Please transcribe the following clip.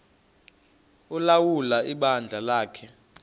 ulawula ibandla lakhe